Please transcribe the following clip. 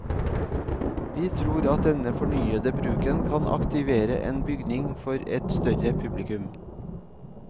Vi tror at denne fornyede bruken kan aktivere en bygning for et større publikum.